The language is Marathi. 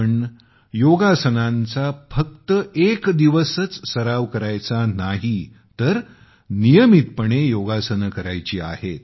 आपण योगाचा फक्त एक दिवसच सराव करायचा नाही आहे तर नियमितपणे योगासने करायची आहेत